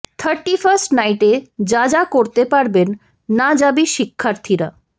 thirty-first নাইটে যা যা করতে পারবেন না জাবি শিক্ষার্থীরা